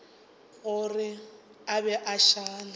gore a be a šale